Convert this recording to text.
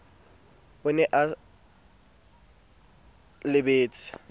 na o se o lebetse